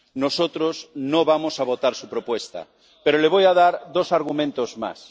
Nosotros no vamos a votar su propuesta, pero le voy a dar dos argumentos más.